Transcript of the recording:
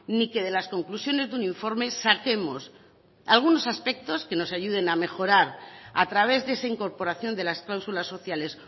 ni que de las conclusiones de un informe saquemos algunos aspectos que nos ayuden a mejorar a través de esa incorporación de las clausulas sociales